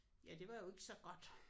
Ja det var jo ikke så godt